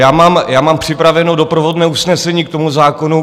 Já mám připraveno doprovodné usnesení k tomu zákonu.